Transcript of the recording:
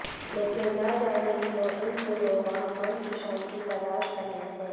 लेकिन न जाने क्यों इन दिनों वह मन की शांति तलाश रहे हैं